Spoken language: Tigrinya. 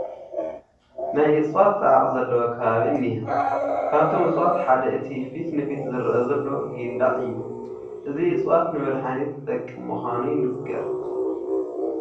ናይ እፅዋት ፃዕቒ ዘለዎ ከባቢ እኒሀ፡፡ ካብቶም እፅዋት ሓደ እቲ ፊት ንፊት ዝርአ ዘሎ ጊንዳዕ እዩ፡፡ እዚ እፅዋት ንመድሓኒት ዝጠቅም ምዃኑ ይንገር፡፡